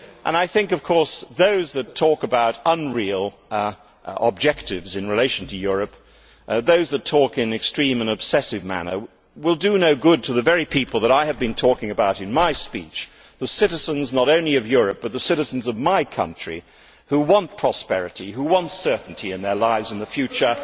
I think that those who talk about unreal objectives in relation to Europe, those who talk in an extreme and obsessive manner, will do no good to the very people that I have been talking about in my speech the citizens, not only of Europe, but the citizens of my country, who want prosperity, who want certainty in their lives and the future.